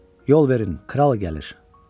Yol verin, kral gəlir.